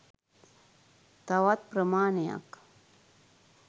තවත් ප්‍රමාණයක්